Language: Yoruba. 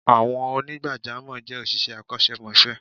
Àwọn onigbajamo je òṣìṣẹ́ akosemose